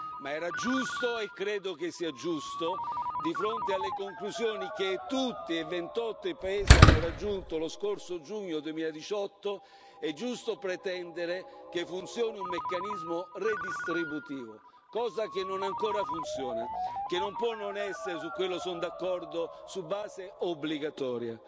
Ma era giusto, e credo che sia giusto, di fronte alle conclusioni che tutti e 28 i paesi hanno raggiunto lo scorso giugno 2018, pretendere che funzioni un meccanismo redistributivo, cosa che non ancora funziona, che non può non essere su quello sono d'accordo su base obbligatoria.